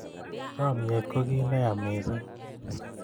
chamyet ko kiy ne ya missing